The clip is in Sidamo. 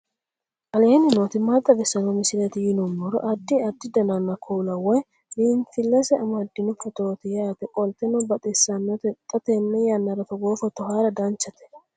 aleenni nooti maa xawisanno misileeti yinummoro addi addi dananna kuula woy biinsille amaddino footooti yaate qoltenno baxissannote xa tenne yannanni togoo footo haara danchate